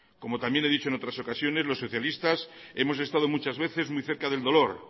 como también he dicho en otras ocasiones los socialistas hemos estado muchas veces muy cerca del dolor